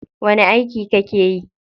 Wani aiki kake yi?